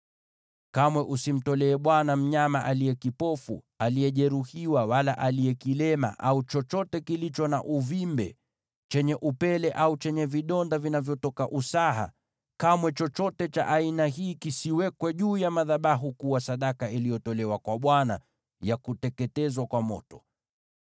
Kamwe usimtolee Bwana mnyama aliye kipofu, aliyejeruhiwa wala aliye kilema, au chochote kilicho na uvimbe, au chenye upele au vidonda vinavyotoka usaha. Kamwe chochote cha aina hii kisiwekwe juu ya madhabahu kuwa sadaka iliyotolewa kwa Bwana ya kuteketezwa kwa moto.